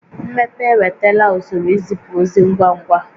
Mmepe ewetala usoro izipu ozi ngwa ngwa